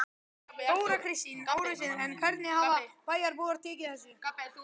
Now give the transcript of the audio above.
Þóra Kristín Ásgeirsdóttir: En hvernig hafa bæjarbúar tekið þessu?